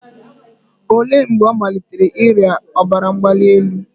Olee mgbe ọ malitere ịrịa ọbara mgbali elu?